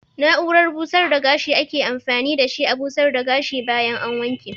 Na'urar busar da gashi ake amfani da shi a busar da gashi bayan an wanke.